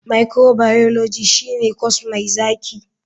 Microbiology shine corse mai zaki.